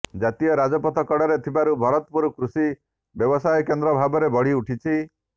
ଜାତୀୟ ରାଜପଥ କଡ଼ରେ ଥିବାରୁ ଭରତପୁର କୃଷି ବ୍ୟବସାୟ କେନ୍ଦ୍ର ଭାବରେ ବଢ଼ିଉଠିଛି